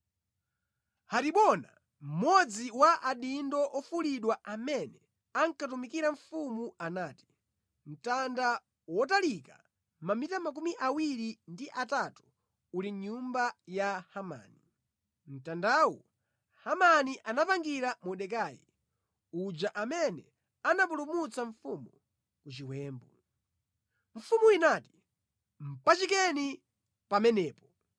Haribona, mmodzi wa adindo ofulidwa amene ankatumikira mfumu anati, “Mtanda wotalika mamita 23 uli mʼnyumba ya Hamani. Mtandawu, Hamani anapangira Mordekai, uja amene anapulumutsa mfumu ku chiwembu.” Mfumu inati, “Mpachikeni pamenepo!”